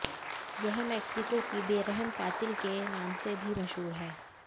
यह मेक्सिको की बेरहम कातिल के नामसे भी मशहूर है